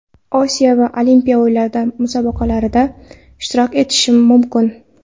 Osiyo va Olimpiya o‘yinlari Musobaqalarda ishtirok etishim mumkin.